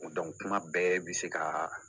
kuma bɛɛ bɛ se ka